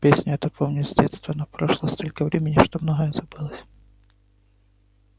песню эту помню с детства но прошло столько времени что многое забылось